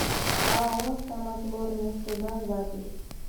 ао самотлорнефтегаз запись